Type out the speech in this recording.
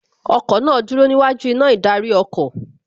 Ọkọ̀ náà dúró níwájú iná ìdarí ọkọ̀